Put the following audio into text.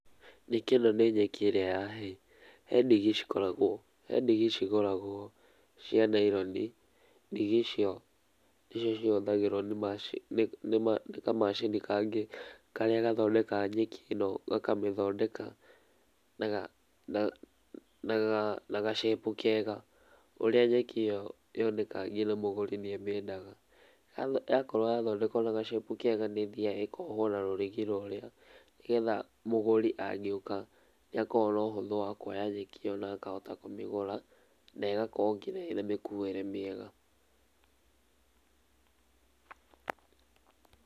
Nyeki ĩno nĩ nyeki ĩrĩa ya hay. He ndigi cikoragwo, he ndigi cigũragwo cia nylon, ndigi icio nĩcio cihũthagĩrio nĩ kamacini kangĩ karĩa gathondekaga nyeki ĩno, gakamĩthondeka na ga shape kega ũrĩa nyeki ĩyo yonekaga nginya mũgũri nĩ amĩendaga. Yakorwo yathondekwo na ga shape kega nĩĩthiaga ĩkohwo na rũrigi rũrĩa nĩgetha mũgũri angĩũka nĩ akuona ũhũthũ wa kuoya nyeki ĩyo ona akahota kũmĩgũra na ĩgakorwo nginya ĩ na mĩkuĩre mĩega.